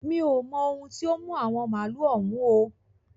Mi ò mo ohun tí ó mú àwọn màálu òun o.